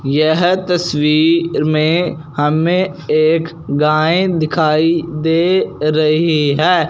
यह तस्वीर में हमें एक गाय दिखाई दे रही है।